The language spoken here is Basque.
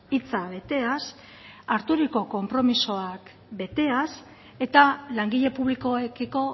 hitza beteaz hartutako konpromisoak beteaz eta langile publikoekiko